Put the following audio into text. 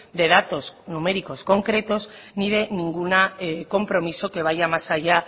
de datos numéricos concretos ni de ningún compromiso que vaya más allá